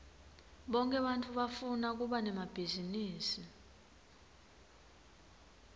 bonke bantfu bafuna kuba nemabhizinisi